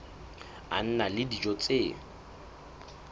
a na le dijo tse